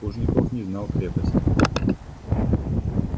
плужников не знал крепости